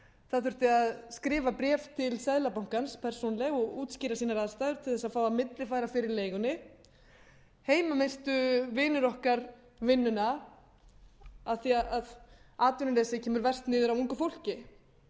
það þurfti að skrifa bréf til seðlabankans persónulega og útskýra sínar aðstæður til að fá að millifæra fyrir leigunni heima misstu vinir okkar vinnuna af því að atvinnuleysi kemur verst niður á ungu fólki